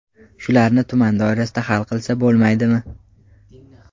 Shularni tuman doirasida hal qilsa bo‘lmaydimi?